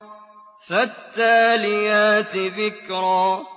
فَالتَّالِيَاتِ ذِكْرًا